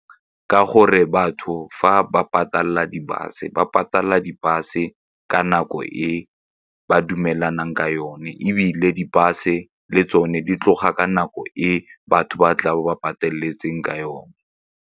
Ka gore batho fa ba patalela di-bus-e ba patalela di-bus e ka nako e ba dumelanang ka yone ebile di-bus-e le tsone di tloga ka nako e batho ba tlabe ba pataletseng ka yone.